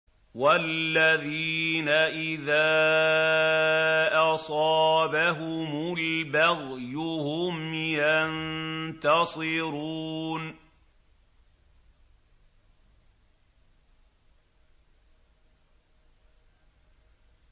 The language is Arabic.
وَالَّذِينَ إِذَا أَصَابَهُمُ الْبَغْيُ هُمْ يَنتَصِرُونَ